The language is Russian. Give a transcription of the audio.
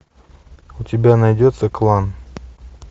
у тебя найдется клан